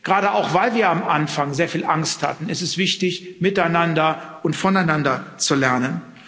Gerade auch, weil wir am Anfang sehr viel Angst hatten, ist es wichtig, miteinander und voneinander zu lernen.